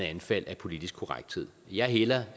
anfald af politisk korrekthed jeg hælder